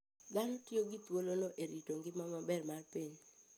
Dhano tiyo gi thuolono e rito ngima maber mar piny.